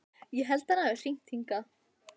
Ég held að hann hafi hringt hingað.